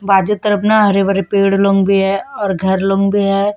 बाजू तरफ न हरे-भरे पेड़ लोग भी है और घर लोग भी है।